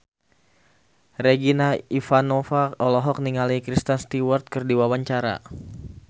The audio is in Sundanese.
Regina Ivanova olohok ningali Kristen Stewart keur diwawancara